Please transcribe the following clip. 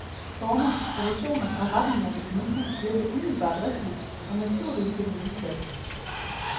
Former, proportioner og retninger ved det nye hus virker umiddelbart rigtige og naturlige til den nye plads.